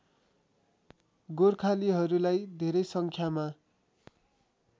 गोर्खालीहरूलाई धेरै सङ्ख्यामा